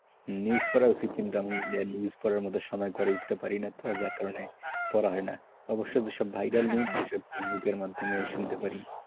News পড়া উচিত কিন্তু আমি news পড়ার মতো সময় হয়ে উঠতে পারিনি যার কারণে পড়া হয়নাভাইয়েরা যে সমস্ত link দেয় ফেসবুকের মাধ্যমে শুনতে পাই,